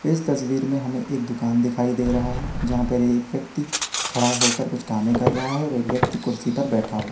इस तस्वीर में हमें एक दुकान दिखाई दे रहा है जहां पर एक व्यक्ति खड़ा होकर कुछ कामे ही कर रहा है और एक व्यक्ति कुर्सी पर बैठा--